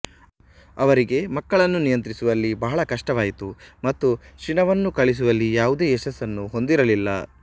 ಅವರಿಗೆ ಮಕ್ಕಳನ್ನು ನಿಯಂತ್ರಿಸುವಲ್ಲಿ ಬಹಳ ಕಷ್ಟವಾಯಿತು ಮತ್ತು ಶಿಣವನ್ನು ಕಳಿಸುವಲಿ ಯಾವುದೇ ಯಶಸ್ಸನ್ನು ಹೊಂದಿರಲಿಲ್ಲ